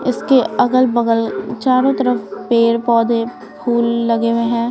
इसके अगल-बगल चारों तरफ पेड़ पौधे फूल लगे हुए हैं।